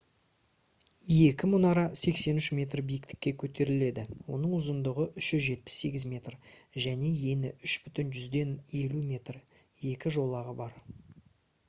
екі мұнара 83 метр биіктікке көтеріледі оның ұзындығы 378 метр және ені 3,50 м екі жолағы бар